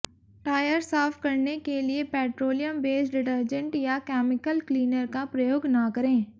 tyre साफ करने के लिए पेट्रोलियम बेस्ड डिटरजेंट या केमिकल क्लीनर का प्रयोग न करें